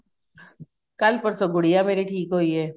ਕੱਲ ਪਰਸੋ ਗੂੜੀਆਂ ਮੇਰੀ ਠੀਕ ਹੋਈ ਏ